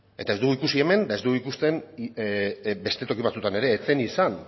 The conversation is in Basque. eta ez dugu ikusi hemen eta ez dugu ikusten beste toki batzuetan ere ez zen izan